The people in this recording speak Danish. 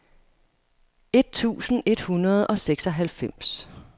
et tusind et hundrede og seksoghalvfems